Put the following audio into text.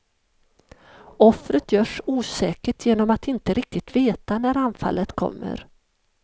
Offret görs osäkert genom att inte riktigt veta när anfallet kommer.